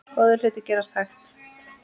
Góðir hlutir gerast hægt.